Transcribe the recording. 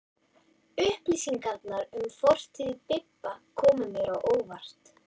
Upplýsingarnar um fortíð Bibba komu mér á óvart.